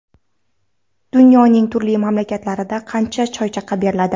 Dunyoning turli mamlakatlarida qancha choychaqa beriladi?.